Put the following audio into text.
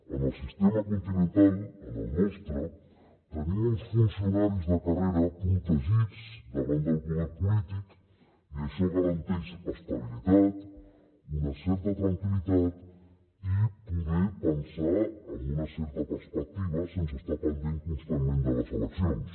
en el sistema continental en el nostre tenim uns funcionaris de carrera protegits davant del poder polític i això garanteix estabilitat una certa tranquil·litat i poder pensar amb una certa perspectiva sense estar pendent constantment de les eleccions